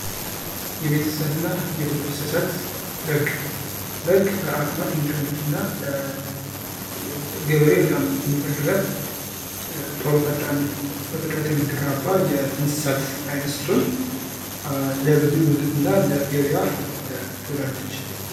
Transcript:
የቤት እንስሳት እና የዱር እንስሳት በግ በግ በአቅሟ ትንሿ ነች እና ገበሬ በጣም የሚፈልጋት ቶሎ ፈጣን በፍጥነት የምትራመድ የእንስሳት አይነት ስትሆን ለምግብነት እና ለገበያ ትውላለች።